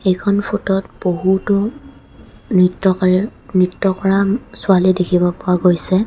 এইখন ফোট ত বহুতো নৃত্যকাৰীৰ নৃত্য কৰা উম ছোৱালী দেখিব পোৱা গৈছে.